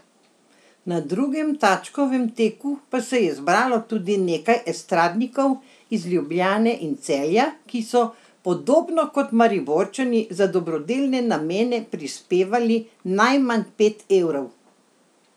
Na drugem Tačkovem teku pa se je zbralo tudi nekaj estradnikov iz Ljubljane in Celja, ki so podobno kot Mariborčani za dobrodelne namene prispevali najmanj pet evrov.